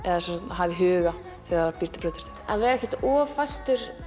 hafa í huga þegar það býr til brauðtertu að vera ekkert of fastur